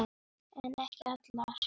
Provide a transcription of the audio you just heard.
En ekki allar.